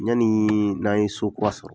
Yanni n'an ye sokura sɔrɔ